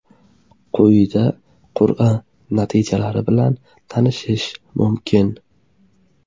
Quyida qur’a natijalari bilan tanishish mumkin.